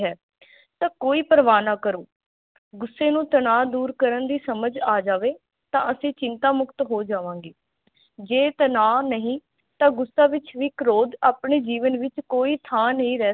ਤਾਂ ਕੋਈ ਪ੍ਰਵਾਹ ਨਾ ਕਰੋ ਗੁੱਸੇ ਨੂੰ ਤਨਾਹ ਦੂਰ ਕਰਨ ਦੀ ਸਮਝ ਆ ਜਾਵੇ ਤਾਂ ਅਸੀਂ ਚਿੰਤਾ ਮੁਕਤ ਹੋ ਜਾਵਾਗੇ, ਜੇ ਤਨਾਹ ਨਹੀਂ ਤਾਂ ਗੁੱਸੇ ਵਿਚ ਵੀ ਕਰੋਧ ਆਪਣੇ ਜੀਵਨ ਵਿਚ ਕੋਈ ਥਾਂ ਨਹੀਂ ਰਹਿ ਸਕ